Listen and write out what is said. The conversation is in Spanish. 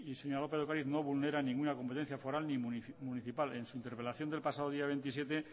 señora lópez de ocariz no vulnera ninguna competencia foral ni municipal en su interpelación del pasado día veintisiete